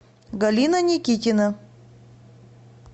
галина никитина